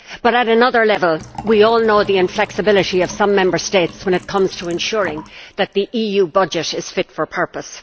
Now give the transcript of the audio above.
But at another level, we all know the inflexibility of some Member States when it comes to ensuring that the EU budget is fit for purpose.